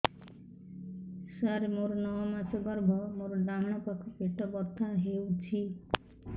ସାର ମୋର ନଅ ମାସ ଗର୍ଭ ମୋର ଡାହାଣ ପାଖ ପେଟ ବଥା ହେଉଛି